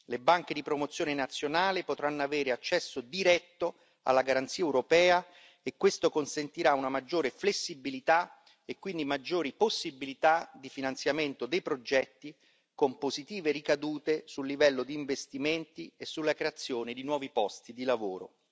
Le banche di promozione nazionale potranno avere accesso diretto alla garanzia europea e questo consentirà una maggiore flessibilità e quindi maggiori possibilità di finanziamento dei progetti, con positive ricadute sul livello di investimenti e sulla creazione di nuovi posti di lavoro.